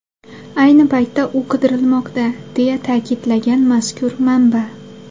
Ayni paytda u qidirilmoqda”, deya ta’kidlagan mazkur manba.